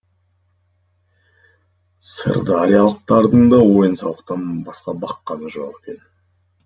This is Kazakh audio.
сырдариялықтардың да ойын сауықтан басқа баққаны жоқ екен